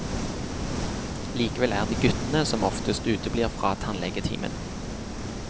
Likevel er det guttene som oftest uteblir fra tannlegetimen.